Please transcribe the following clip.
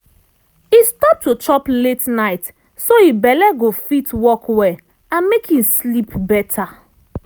e stop to chop late night so im belle go fit work well and make im sleep better.